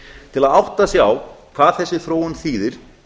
til að átta sig á hvað þessi þróun þýðir